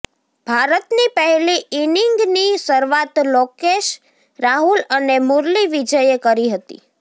ભારતની પહેલી ઈનિંગની શરૂઆત લોકેશ રાહુલ અને મુરલી વિજયે કરી હતીૃ